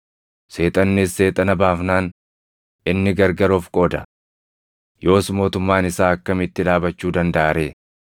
Seexannis Seexana baafnaan, inni gargar of qooda. Yoos mootummaan isaa akkamitti dhaabachuu dandaʼa ree?